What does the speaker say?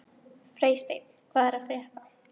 Freysteinn, hvað er að frétta?